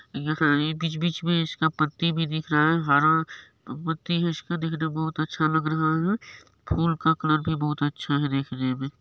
यहां बीच-बीच मे इसका पत्ती भी दिख रहा है हरा पत्ती है इसका देखने में बहुत अच्छा लग रहा है फूल का कलर भी बहुत अच्छा है देखने मे।